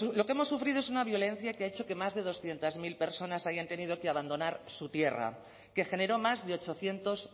lo que hemos sufrido es una violencia que ha hecho que más de doscientos mil personas hayan tenido que abandonar su tierra que generó más de ochocientos